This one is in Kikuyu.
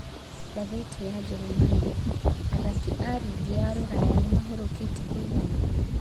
(Ngathĩti ya Njeremani) Athaki a rigi ya Ruraya nĩmahũrũkĩte kũigana ?